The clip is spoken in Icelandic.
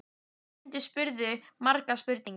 Nemendurnir spurðu margra spurninga.